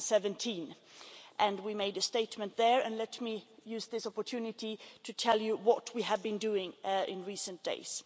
2017. We made a statement then, and let me use this opportunity to tell you what we have been doing in recent days.